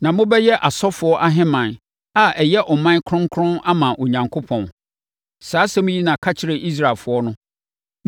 Na mobɛyɛ asɔfoɔ ahemman a ɛyɛ ɔman kronkron ama Onyankopɔn.’ Saa nsɛm yi na ka kyerɛ Israelfoɔ no.”